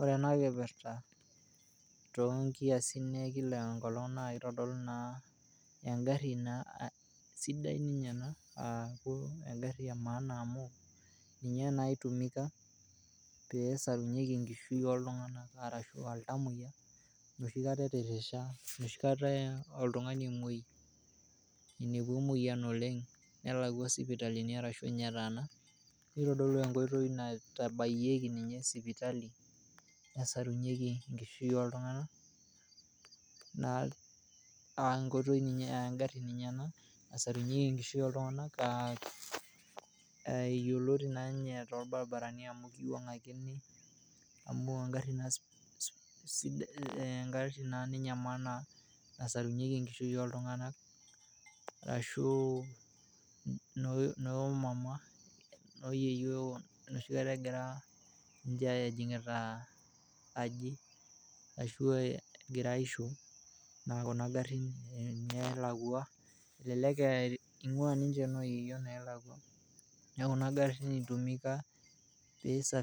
Ore entoki nagira aasa tene naa egir aitodolu aaku taa olcheni ogirai aabukoki enkare lotuunoki naa egira aitodolu inkoitoi nabo ina naibung'eki enkishui, aaore ninye teneaku etuuno olcheni neitodolu ina ajo enkishui egirai aibung' oltungana arashu keitobirr naa entoki ake nagira aman oltungani environment neaku neitobirr nechaa aitaa naa sidai netum naa aakeyetuni ninche akore ninye ilo cheni otuunoki neaku ninche etubulutwa naaku kee lemaana amu keyetu ninche enchan neishoo oltungani ntokitin kumok aaku embao tenkata enchetare neisho olchat oyerishoreki, neshetishoreki sii ninche nena kikingin arashu embaoii naing'ua ilo sheni otuunoki neaku egira